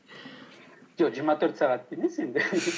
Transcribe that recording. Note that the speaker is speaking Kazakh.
жоқ жиырма төрт сағат емес енді